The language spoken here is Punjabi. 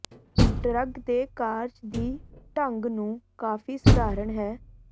ਡਰੱਗ ਦੇ ਕਾਰਜ ਦੀ ਢੰਗ ਨੂੰ ਕਾਫ਼ੀ ਸਧਾਰਨ ਹੈ